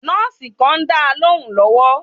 Nọ́ọ̀sì kàn ń dáa lóhùún lọ́wọ́.